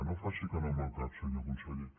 no faci que no amb el cap senyor conseller